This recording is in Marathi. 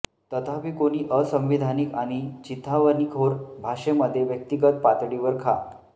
तथापि कोणी असंविधानिक आणि चिथावणीखोर भाषेमध्ये व्यक्तीगत पातळीवर खा